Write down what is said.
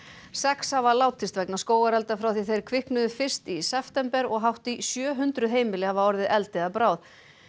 sex hafa látist vegna skógarelda frá því þeir kviknuðu fyrst í september og hátt í sjö hundruð heimili hafa orðið eldi að bráð